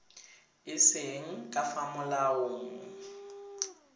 e seng ka fa molaong